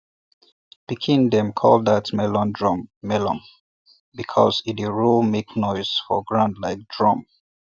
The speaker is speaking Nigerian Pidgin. pikin dem call that melon drum melon because e dey roll make noise for ground like drum